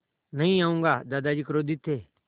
नहीं आऊँगा दादाजी क्रोधित थे